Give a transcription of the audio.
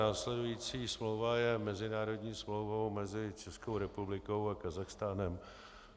Následující smlouva je mezinárodní smlouvou mezi Českou republikou a Kazachstánem.